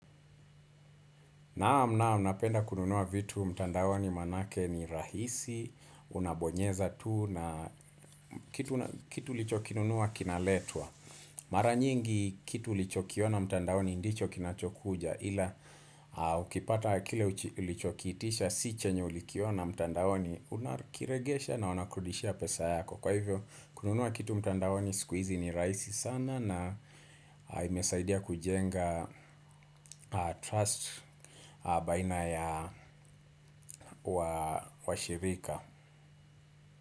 Naam naam napenda kununua vitu mtandawani manake ni rahisi. Unabonyeza tu na kitu ulichokinunua kinaletwa. Mara nyingi kitu ulichokiona mtandaoni ndicho kinachokuja. Hila ukipata kile ulichokitisha si chenye ulikiona mtandaoni. Unakiregesha na wanakurudishia pesa yako. Kwa hivyo kununua kitu mtandaoni siku hizi ni rahisi sana. Na imesaidia kujenga trust baina ya washirika.